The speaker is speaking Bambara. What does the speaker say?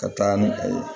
Ka taa ni a ye